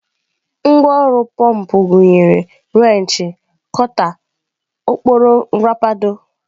Ngwá ọrụ pọmpụ gụnyere wrenchi, kota, ọkpọrọ nrapado.